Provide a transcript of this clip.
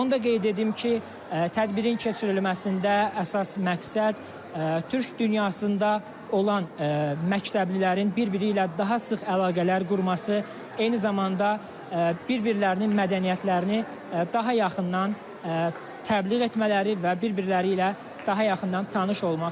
Onu da qeyd edim ki, tədbirin keçirilməsində əsas məqsəd Türk dünyasında olan məktəblilərin bir-biri ilə daha sıx əlaqələr qurması, eyni zamanda bir-birlərinin mədəniyyətlərini daha yaxından təbliğ etmələri və bir-birləri ilə daha yaxından tanış olmaqdır.